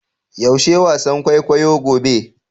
Yaushe wasan kwaikwayo gobe?